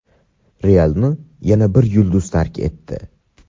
"Real"ni yana bir yulduz tark etdi.